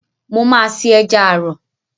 Mo máa se Ẹja àrọ̀.